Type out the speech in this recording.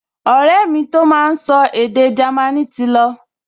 Ọ̀rẹ́ mi tó máa n sọ èdè Jámínì ti lọ